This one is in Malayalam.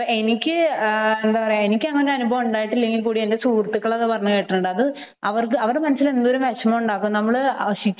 എനിക്ക് എനിക്ക് അങ്ങനെ അനുഭവം ഉണ്ടായിട്ടില്ലെങ്കിലും എന്റെ സുഹൃത്തുക്കൾ അത് പറഞ്ഞു കേട്ടിട്ടുണ്ട് അത് എന്തൊരു വിഷമം ഉണ്ടാക്കും